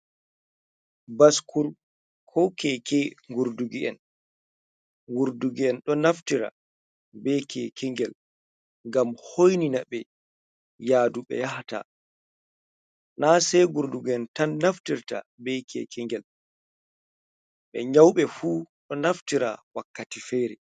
Baskul(bycle) ko keke gurdug'en. Gurdug'en ɗo naftira be keke ngel ngam hoinina ɓe yadu ɓe yahata. Na sai gurdug'en tan naftirta be keke ngel, hatta ɓe nyauɓe fu ɗo naftira wakkati fere.